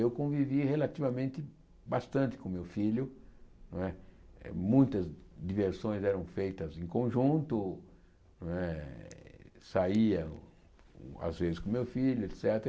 Eu convivi relativamente bastante com o meu filho não é, muitas diversões eram feitas em conjunto né, saía às vezes com o meu filho, et cétera.